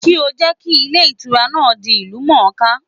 Kí ó jẹ́ kí Ilé Ìtura náà di ìlú mòóká